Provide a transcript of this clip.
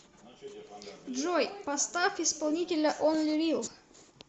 джой поставь исполнителя онли рил